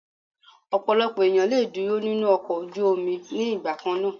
Ọ̀pọ̀lọpọ̀ ènìyàn le dúró nínú ọkọ̀ ojú omi ní ìgbà kannáà.